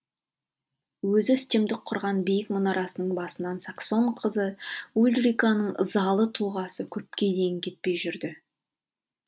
өзі үстемдік құрған биік мұнарасының басынан саксон қызы ульриканың ызалы тұлғасы көпке дейін кетпей жүрді